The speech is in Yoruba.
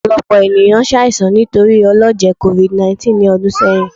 Ọpọlọpọ eniyan ṣaisan nitori ọlọjẹ covid19 ni ọdun sẹyin